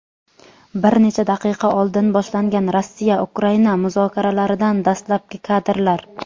Bir necha daqiqa oldin boshlangan Rossiya-Ukraina muzokaralaridan dastlabki kadrlar.